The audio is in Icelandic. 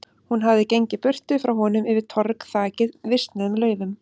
Hún hafði gengið burtu frá honum, yfir torg þakið visnuðum laufum.